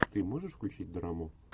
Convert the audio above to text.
ты можешь включить драму